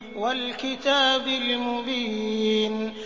وَالْكِتَابِ الْمُبِينِ